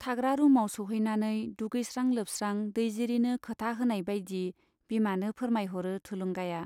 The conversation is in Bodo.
थाग्रा रुमाव सौहैनानै दुगैस्रां लोबस्रां दैजिरिनो खोथा होनाय बाइदि बिमानो फोरमायहरो थुलुंगाया।